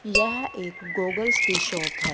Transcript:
यह एक गॉगल्स की शॉप है।